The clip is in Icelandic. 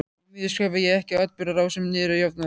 Því miður skrifaði ég ekki atburðarásina niður jafnóðum.